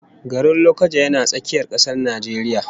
Garin Lokoja yana tsakiyar kasar Najeriya